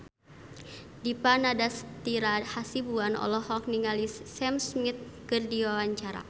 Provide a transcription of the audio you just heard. Dipa Nandastyra Hasibuan olohok ningali Sam Smith keur diwawancara